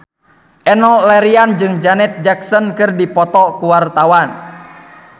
Enno Lerian jeung Janet Jackson keur dipoto ku wartawan